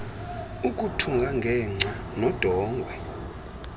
ukuthunga ngengca nodongwe